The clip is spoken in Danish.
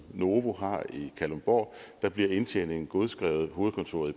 novo nordisk har i kalundborg bliver indtjeningen godskrevet af hovedkontoret